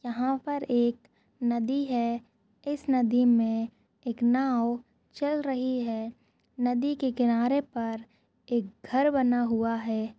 यहाँ पर एक नदी है इस नदी में एक नाव चल रही है नदी के किनारे पर एक घर बना हुआ है।